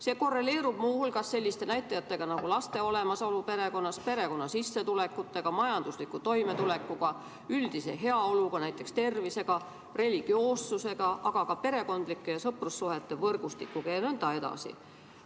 See korreleerub muu hulgas selliste näitajatega nagu laste olemasolu perekonnas, perekonna sissetulekud, majanduslik toimetulek, üldine heaolu, näiteks tervis, religioossus, aga ka perekondlike ja sõprussuhete võrgustik jne.